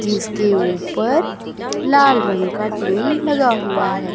जिसके ऊपर लाल रंग का टिन लगा हुआ है।